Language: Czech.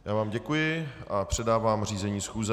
Já vám děkuji a předávám řízení schůze.